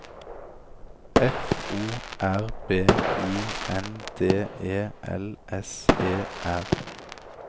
F O R B I N D E L S E R